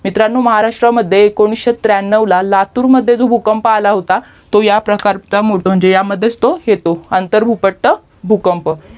मित्रांनो महाराष्ट्रमध्ये एकोणिसशे त्र्यांनव्व ला लातूर मध्ये जो भूकंप आला होता तो या प्रकार ह्यामध्ये तो येतो अंथरभूपट्टा भूकंप